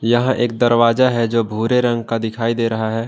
यह एक दरवाजा है जो भूरे रंग का दिखाई दे रहा है।